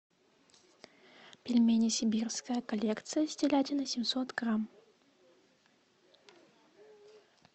пельмени сибирская коллекция с телятиной семьсот грамм